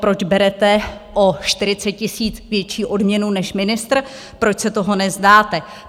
Proč berete o 40 000 větší odměnu, než ministr, proč se toho nevzdáte?